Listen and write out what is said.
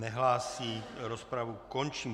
Nehlásí, rozpravu končím.